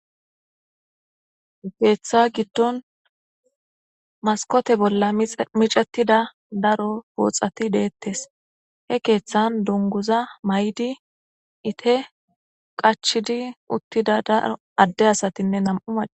Keeththa giddon maskote bolla micetida daro booxati deettes he keeththan dunguza may7di ite qachidi uttida daro adde asatinne nam7u maca.